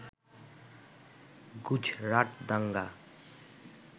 গুজরাট দাঙ্গা